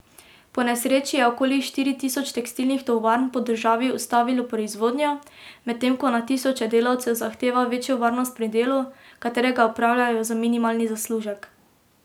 Po nesreči je okoli štiri tisoč tekstilnih tovarn po državi ustavilo proizvodnjo, medtem ko na tisoče delavcev zahteva večjo varnost pri delu, katerega opravljajo za minimalni zaslužek.